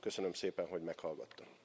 Köszönöm szépen, hogy meghallgattak.